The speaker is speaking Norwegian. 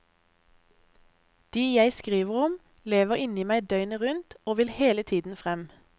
De jeg skriver om, lever inni meg døgnet rundt, og vil hele tiden frem.